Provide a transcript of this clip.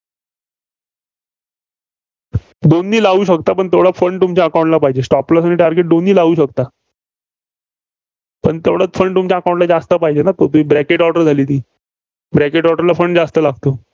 दोन्ही लावू शकता. पण तेवढा Fund तुमच्या account ला पाहिजे. stop loss आणि target हे दोन्ही लावू शकता. पण तेवढा fund तुमच्या account ला जास्त पाहिजेना. तो ती bracket order झाली ती. bracket order ला फंड जास्त लागतो.